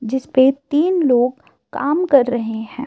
जिस पे तीन लोग काम कर रहे है